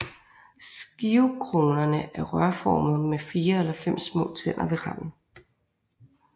Skivekronerne er rørformede med 4 eller 5 små tænder ved randen